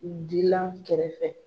U dilan kɛrɛfɛ.